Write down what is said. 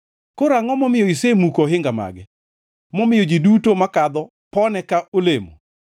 Koro angʼo momiyo isemuko ohinga mage, momiyo ji duto makadho pone ka olemo.